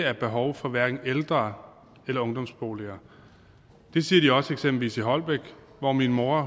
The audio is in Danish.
er behov for hverken ældre eller ungdomsboliger det siger de også eksempelvis i holbæk hvor min mor